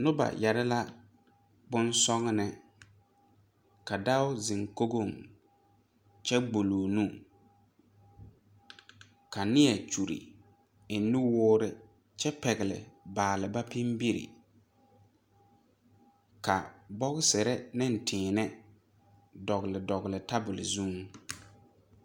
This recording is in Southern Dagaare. Noba yɛre la bon sɔgnèè ka dao zeŋ kogoŋ kyɛ gbuloo nu ka nie kyure eŋ nuwoore kyɛ pɛgle baalba pinbire ka bɔgserre neŋ tēēnɛ dɔgle dɔgle tabol zuŋ.